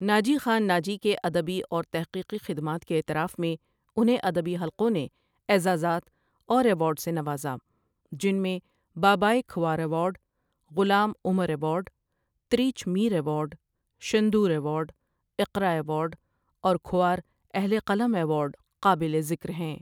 ناجی خان ناجی کے ادبی اور تخقیقی خدمات کے اعتراف میں انہیں ادبی حلقوں نے اغزازات اور ایوارڈ سے نوزا جن میں باباۓ Khowar award, Ghulam Umar award, Tirich Mir award ,Shandur award, Iqra award, اور کھوار اہل قلم ایوارڈ قابل ذکر ہیں.